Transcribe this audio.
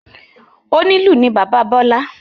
Onílù ni bàbá Bọ́lâ.